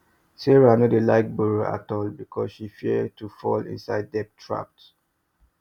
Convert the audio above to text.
sarah no dey like borrow at all because she fear to fall inside debt traps